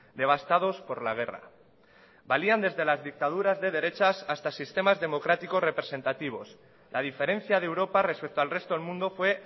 devastados por la guerra valían desde las dictaduras de derechas hasta sistemas democráticos representativos la diferencia de europa respecto al resto del mundo fue